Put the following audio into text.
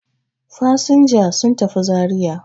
Fasinjiji sun tafi Zariya.